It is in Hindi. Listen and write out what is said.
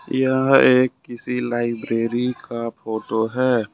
यह एक किसी लाइब्रेरी का फोटो है।